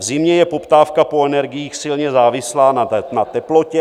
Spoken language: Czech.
V zimě je poptávka po energiích silně závislá na teplotě.